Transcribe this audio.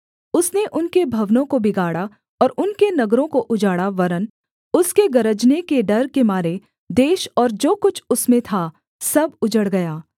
उसने उनके भवनों को बिगाड़ा और उनके नगरों को उजाड़ा वरन् उसके गरजने के डर के मारे देश और जो कुछ उसमें था सब उजड़ गया